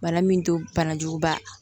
Bana min to bana jugu ba